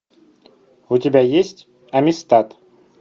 у тебя есть амистад